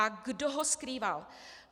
A kdo ho skrýval?